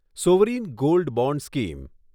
sovereign gold bond scheme